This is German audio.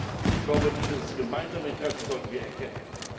Und ich glaube, dieses gemeinsame Interesse sollten wir anerkennen.